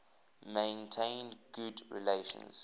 maintained good relations